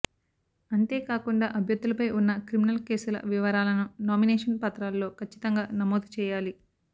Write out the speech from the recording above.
అంతేకాకుండా అభ్యర్థులపై ఉన్న క్రిమినల్ కేసుల వివరాలను నామినేషన్ పత్రాల్లో కచ్చితంగా నమోదు చేయాలి